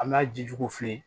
An b'a jiju f'i ye